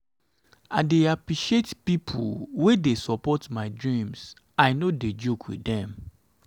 i dey appreciate pipo wey dey support my dreams i no dey joke wit dem.